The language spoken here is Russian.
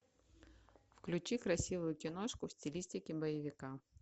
включи красивую киношку в стилистике боевика